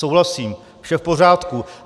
Souhlasím, vše v pořádku.